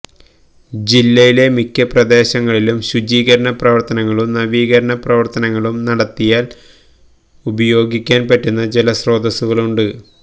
ജില്ലയിലെ മിക്ക പ്രദേശങ്ങളിലും ശുചീകരണ പ്രവര്ത്തനങ്ങളും നവീകരണ പ്രവര്ത്തനങ്ങളും നടത്തിയാല് ഉപയോഗിക്കാന് പറ്റുന്ന ജലസ്രോതസുകളുണ്ട്